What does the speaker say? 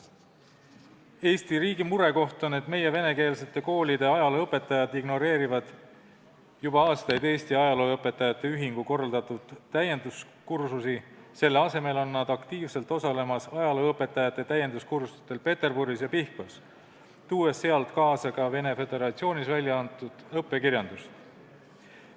Eesti riigi murekoht on, et meie venekeelsete koolide ajalooõpetajad ignoreerivad juba aastaid Eesti ajalooõpetajate ühingu korraldatud täienduskursusi, selle asemel on nad aktiivselt osalemas ajalooõpetajate täienduskursustel Peterburis ja Pihkvas, tuues sealt kaasa ka Vene Föderatsioonis väljaantud õppekirjandust.